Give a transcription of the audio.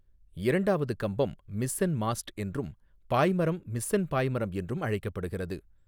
இரண்டாவது கம்பம் mizzen mast என்றும், பாய்மரம் மிஸ்ஸென் பாய்மரம் என்றும் அழைக்கப்படுகிறது.